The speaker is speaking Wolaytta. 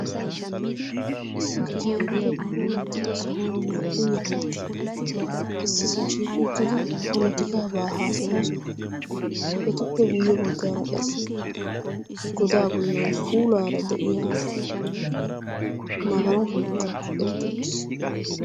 Issi keyippe puulattida sohuwa naa"u ye nagati issisa shiiqi uttidi polotikaabaa haasayoosona etuppe guyye baggaara qassi godaa bollan puulaara de'iya magalashoi kaqetti uttiis.